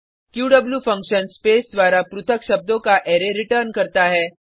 Q function space द्वारा पृथक शब्दों का अरै रिटर्न करता है